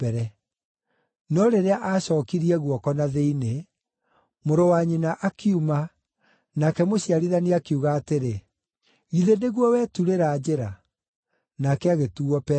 No rĩrĩa aacookirie guoko na thĩinĩ, mũrũ wa nyina akiuma, nake mũciarithania akiuga atĩrĩ, “Githĩ nĩguo weturĩra njĩra!” Nake agĩtuuo Perezu.